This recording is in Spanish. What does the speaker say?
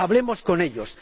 Hablemos con ellos.